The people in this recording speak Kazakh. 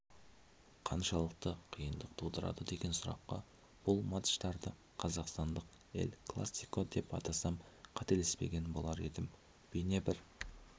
қаншалықты қиындық тудырады деген сұраққа бұл матчтарды қазақстандық эль-классико деп атасам қателеспеген болар едім бейне-бір